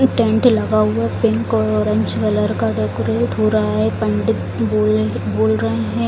Tent लगा हुआ है पिंक और औरेंज कलर का डेकोरेट हो रहा है पंडित बोल बोल रहे हैं।